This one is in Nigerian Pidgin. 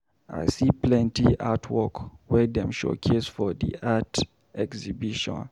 I see plenty artwork wey dem showcase for di art exhibition.